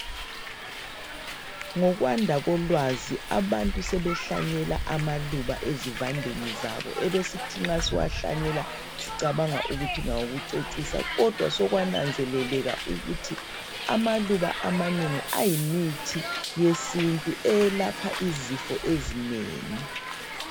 Ngokwanda kolwazi abantu sebehlanyela amaluba ezivandeni zabo ebesisithi nxa siwahlanyela sicabanga ukuthi ngawokucecisa kodwa sokwananzeleleka ukuthi amaluba amanengi ayimithi yesintu eyelapha izifo ezinengi